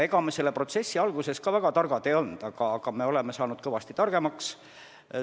Ega me selle protsessi alguses väga targad ei olnud, nüüd oleme kõvasti targemaks saanud.